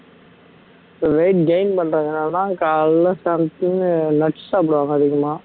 so weight gain பண்றதுனாலதான் காலையில something nuts சாப்பிடுவாங்க அதிகமா